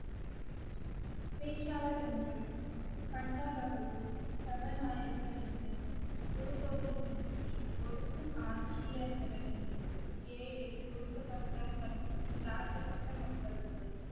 பேச்சாளர் ஒன்று பண்டாபகதூர் சபாநாயகர் ரெண்டு குரு கோவிந்த் சிங்ஜி ஒடுக்கும் ஆட்சியர்களிடம் இருந்து ஏழை ஒடுக்கப்பட்ட மற்றும் தாழ்த்தப்பட்ட மக்களுக்கு